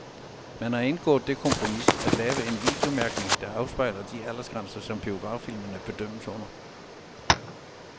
Man har indgået det kompromis at lave en videomærkning, der afspejler de aldersgrænser, som biograffilmene bedømmes under.